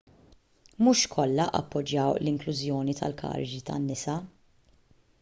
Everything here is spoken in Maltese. mhux kollha appoġġjaw l-inklużjoni tal-karigi tan-nisa